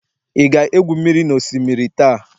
ị ga-egwu mmiri n'osimiri taa?